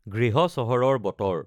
গৃহ চহৰৰ বতৰ